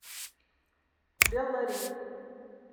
беллари